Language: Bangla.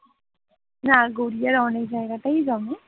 না গড়িয়ার অনেক জায়গায় জমে